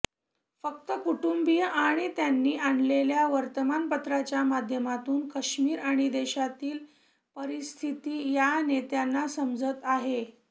फक्त कुटुंबीय आणि त्यांनी आणलेल्या वर्तमानपत्रांच्या माध्यमातून कश्मीर आणि देशातील परिस्थिती या नेत्यांना समजत आहे